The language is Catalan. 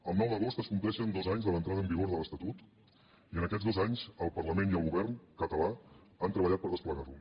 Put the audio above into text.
el nou d’agost es compleixen dos anys de l’entrada en vigor de l’estatut i en aquests dos anys el parlament i el govern català han treballat per desplegar lo